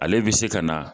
Ale bɛ se ka na